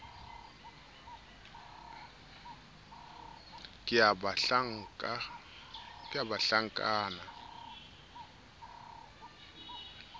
ke ya banhlankana le methepa